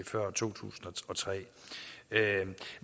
før to tusind og tre